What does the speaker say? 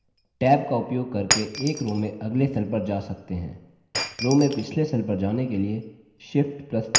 एक और तरीका है tab का उपयोग करके एक row में अगले cells पर जा सकते हैं